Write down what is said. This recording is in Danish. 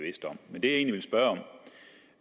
egentlig vil spørge om